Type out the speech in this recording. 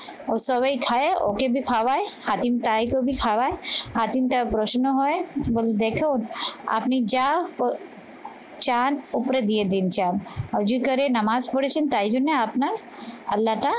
ও সবাই খায় ওকে ভি খাওয়ায় হাটিম তাই করে খাওয়ায় হাটিমটা প্রশ্ন হয় এবং দেখুন আপনি যা ও চান ওপরে দিয়ে দিন চাঁদ। অজিতকারের নামাজ পড়েছেন তাই জন্য আপনার আল্লাহটা